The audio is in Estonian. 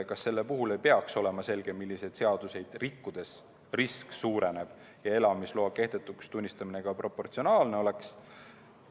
Kas selle puhul ei peaks olema selge, milliseid seadusi rikkudes risk suureneb, et elamisloa kehtetuks tunnistamine ka proportsionaalne oleks?